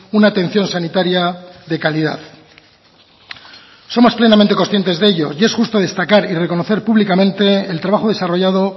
una atención sanitaria de calidad somos plenamente conscientes de ello y es justo destacar y reconocer públicamente el trabajo desarrollado